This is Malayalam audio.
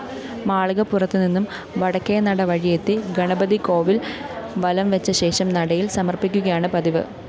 മാളികപ്പുറത്തുനിന്നും വടക്കേനട വഴിയെത്തി ഗണപതികോവില്‍ വലംവച്ചശേഷം നടയില്‍ സമര്‍പ്പിക്കുകയാണ് പതിവ്